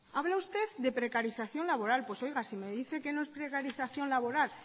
habla usted de precarización laboral pues oiga si me dice que no es precarización laboral